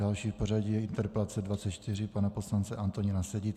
Další v pořadí je interpelace 24 pana poslance Antonína Sedi.